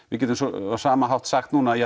við getum á sama hátt sagt núna